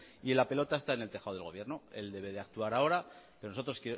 la pelota está en el tejado del gobierno él debe de actuar ahora pero nosotros